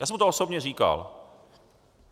Já jsem mu to osobně říkal.